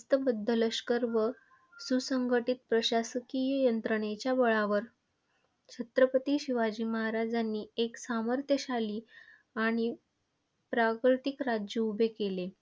शिस्तबद्ध लष्कर व सुसंघटित प्रशासकीय यंत्रणेच्या बळावर छत्रपती शिवाजी महाराजांनी एक सामर्थ्यशाली आणि प्राकृतिक राज्य उभे केले.